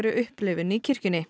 upplifun í kirkjunni